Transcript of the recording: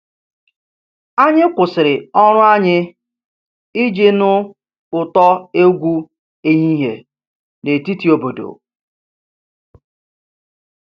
Anyị kwụsịrị ọrụ anyị iji nụ ụtọ egwu ehihie na etiti obodo